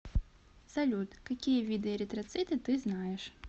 салют какие виды эритроциты ты знаешь